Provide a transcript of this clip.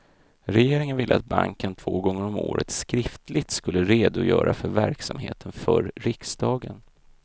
Regeringen ville att banken två gånger om året skriftligt skulle redogöra för verksamheten för riksdagen.